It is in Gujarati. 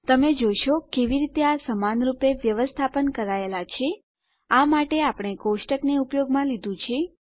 તમે જોશો કેવી રીતે આ સમાનરૂપે વ્યવસ્થાપન કરાયેલા છે આ માટે આપણે કોષ્ટકને ઉપયોગમાં લીધું છે